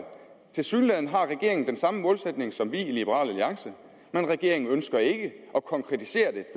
tilsyneladende har regeringen den samme målsætning som vi i liberal alliance men regeringen ønsker ikke at konkretisere det